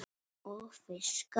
Og fiskar.